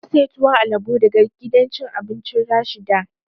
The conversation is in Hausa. Na saya tuwon alabo daga gidan cin abincin Rashida